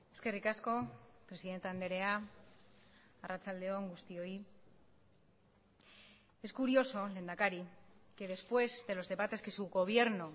eskerrik asko presidente andrea arratsalde on guztioi es curioso lehendakari que después de los debates que su gobierno